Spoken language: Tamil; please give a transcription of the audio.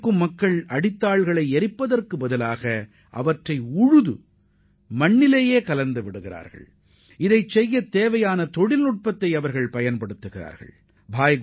வைக்கோலை எரிப்பதற்கு பதிலாக அவற்றை மண்ணுடன் சேர்த்து உழவு செய்யும் புதிய தொழில்நுட்பத்தை பின்பற்றிய விவசாயிகளால் கல்லர்மஜ்ரா கிராமம் வெளிச்சத்திற்கு வந்துள்ளது